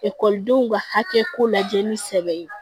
Ekɔlidenw ka hakɛ ko lajɛ ni sɛbɛn ye